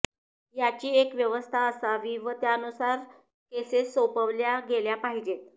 याची एक व्यवस्था असावी व त्यानुसार केसेस सोपविल्या गेल्या पाहिजेत